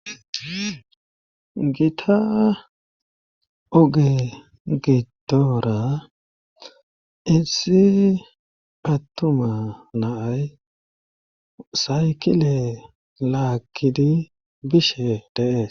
gita ooge gidoora issi attuma na'ay saykile laagidii bishe de'ees